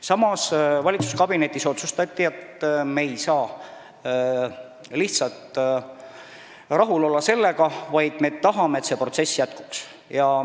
Samas otsustati valitsuskabinetis, et me ei saa sellega lihtsalt rahul olla, vaid me tahame, et see protsess jätkuks.